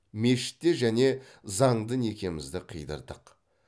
мешітте және заңды некемізді қидырдық